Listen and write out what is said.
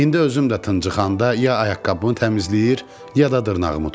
İndi özüm də tııncıxanda ya ayaqqabımı təmizləyir, ya da dırnağımı tuturam.